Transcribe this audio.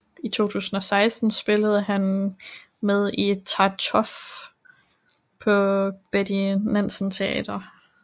I 2016 spillede han med i Tartuffe på Betty Nansen Teatret